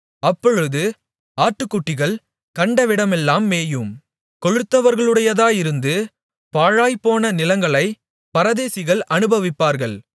அப்பொழுது ஆட்டுக்குட்டிகள் கண்டவிடமெல்லாம் மேயும் கொழுத்தவர்களுடையதாயிருந்து பாழாய்ப்போன நிலங்களைப் பரதேசிகள் அனுபவிப்பார்கள்